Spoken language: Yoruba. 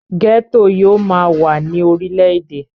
gẹ́tò yóò máa wà ní orile-èdè